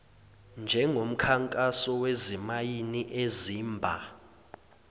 njengomkhankaso wezimayini ezimba